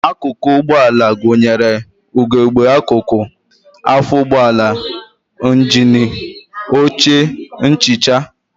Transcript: Akụkụ ụgbọala gụnyere ugegbe akụkụ, afọ ụgbọala, njini, oche, nchicha